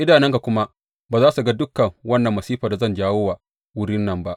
Idanunka kuma ba za su ga dukan wannan masifan da zan jawo wa wurin nan ba.’